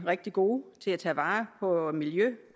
rigtig gode til at tage vare på miljø